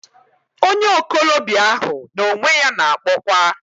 Onye okolobia ahu na onwe ya na-akpokwa....